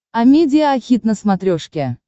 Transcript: амедиа хит на смотрешке